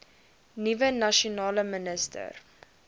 nuwe nasionale minister